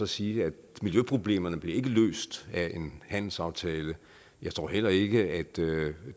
sige at miljøproblemerne ikke bliver løst af en handelsaftale jeg tror heller ikke at det